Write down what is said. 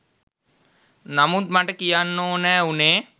නමුත් මට කියන්න ඕනෑ උනේ